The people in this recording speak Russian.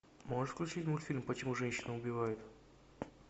можешь включить мультфильм почему женщины убивают